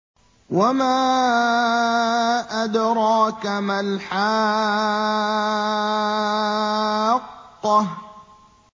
وَمَا أَدْرَاكَ مَا الْحَاقَّةُ